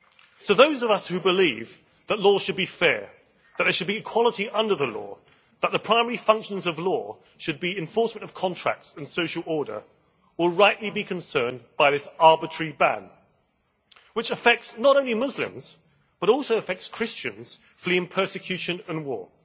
So those of us who believe that law should be fair, that there should be equality under the law, that the primary functions of law should be enforcement of contracts and social order, will rightly be concerned by this arbitrary ban, which affects not only Muslims, but also affects Christians fleeing persecution and war.